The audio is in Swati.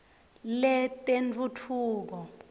letentfutfuko